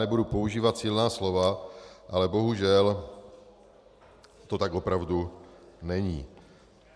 Nebudu používat silná slova, ale bohužel to tak opravdu není.